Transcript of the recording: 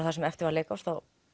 það sem eftir var leikárs